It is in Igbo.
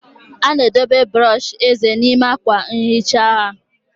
A na-edobe brọsh eze n'ime akwa nhicha nha